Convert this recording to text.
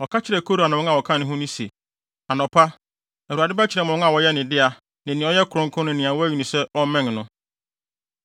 Ɔka kyerɛɛ Kora ne wɔn a wɔka ne ho no se, “Anɔpa, Awurade bɛkyerɛ mo wɔn a wɔyɛ ne dea ne nea ɔyɛ kronkron ne nea wayi no sɛ ɔmmɛn no.